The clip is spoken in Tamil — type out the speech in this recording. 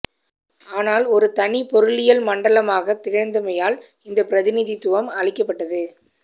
ஆனால் ஒரு தனி பொருளியல் மண்டலமாகத் திகழ்ந்தமையால் இந்த பிரதிநிதித்துவம் அளிக்கப்பட்டது